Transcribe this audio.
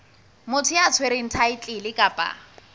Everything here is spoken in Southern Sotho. motho ya tshwereng thaetlele kapa